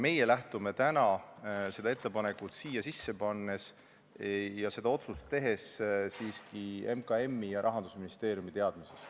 Meie lähtume täna seda ettepanekut siia eelnõusse sisse pannes ja otsust tehes siiski MKM-i ja Rahandusministeeriumi teadmisest.